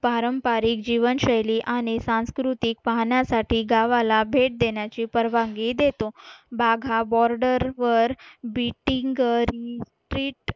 पारंपारिक जीवनशैली आणि सांस्कृतिक पाहण्यासाठी गावाला भेट देण्याची परवानगी देतो बाघा बॉर्डरवर बिटिंग रिट्रीट